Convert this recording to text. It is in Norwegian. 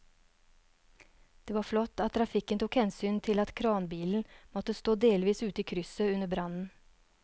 Det var flott at trafikken tok hensyn til at kranbilen måtte stå delvis ute i krysset under brannen.